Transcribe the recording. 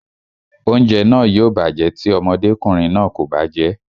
Oúnjẹ náà yóò bàjẹ́ tí ọmọdékùnrin náà kò bá jẹ́ẹ́